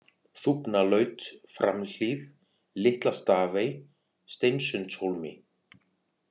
Þúfnalaut, Framhlíð, Litla-Stafey, Steinsundshólmi